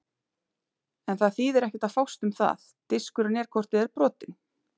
En það þýðir ekkert að fást um það, diskurinn er hvort eð er brotinn.